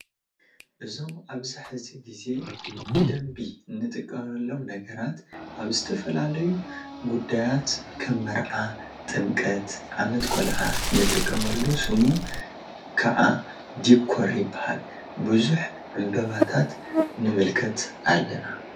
እዞም ኣብዚ ሕዚ ጌዜ ብደንቢ ንጥቀመሎም ነገራት ኣብ ዝተፈላለዩ ጉዳየት ከም መርዓ ጥምቀት ዓመት ቆልዓ ንጥቀመሉ ስሙ ክዓ ዲኮር ይበሃል። ቡዙሕ ዕንበባታት ንምልከት ኣለና።